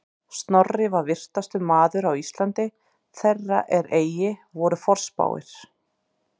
Snorri var vitrastur maður á Íslandi þeirra er eigi voru forspáir